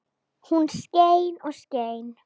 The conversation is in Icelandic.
Og hún skein og skein.